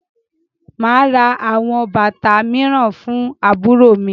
Màá ra àwọn bàtà mìíràn fún àbúrò mi.